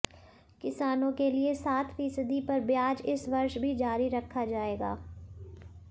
किसानों के लिए सात फीसदी पर ब्याज इस वर्ष भी जारी रखा जाएगा